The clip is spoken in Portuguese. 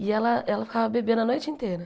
E ela ela ficava bebendo a noite inteira.